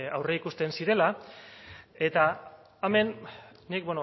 aurreikusten zirela eta hemen nik